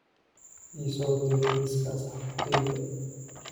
ii soo dir liiska asxaabtayda